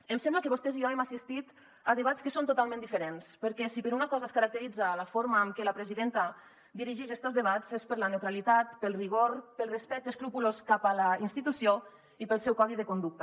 em sembla que vostès i jo hem assistit a debats que són totalment diferents perquè si per una cosa es caracteritza la forma amb què la presidenta dirigix estos debats és per la neutralitat pel rigor pel respecte escrupolós cap a la institució i pel seu codi de conducta